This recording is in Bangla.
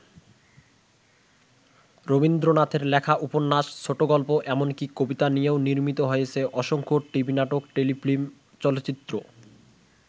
রবীন্দ্রনাথের লেখা উপন্যাস, ছোটগল্প এমনকি কবিতা নিয়েও নির্মিত হয়েছে অসংখ্য টিভি নাটক, টেলিফিল্ম, চলচ্চিত্র।